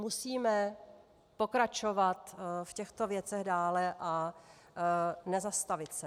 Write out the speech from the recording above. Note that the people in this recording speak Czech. Musíme pokračovat v těchto věcech dále a nezastavit se.